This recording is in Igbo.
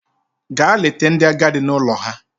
Gaa leta ndị agadi n'ụlọ ha!